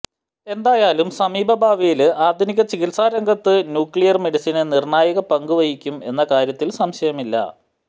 എന്തായാലും സമീപ ഭാവിയില് ആധുനിക ചികിത്സാരംഗത്ത് ന്യൂക്ലിയര് മെഡിസിന് നിര്ണായക പങ്കുവഹിക്കും എന്ന കാര്യത്തില് സംശയമില്ല